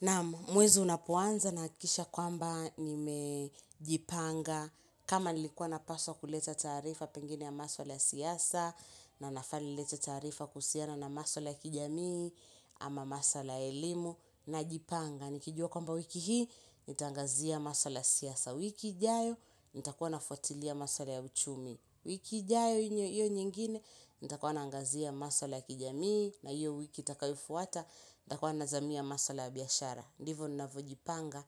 Naam, mwezi unapoanza nahakikisha kwamba nimejipanga kama nilikuwa napaswa kuleta taarifa pengine ya masuala ya siasa, na nafaa nilete taarifa kuhusiana na masuala ya kijamii, ama maswala ya elimu, najipanga. Nikijua kwamba wiki hii, nitaangazia masuala ya siasa, wiki ijayo, nitakuwa nafuatilia maswala ya uchumi. Wiki ijayo hiyo nyingine, nitakuwa naangazia masala ya kijamii, na hiyo wiki itakayofuata, nitakuwa nazamia maswala ya biashara. Ndivyo ninavyojipanga